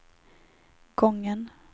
gången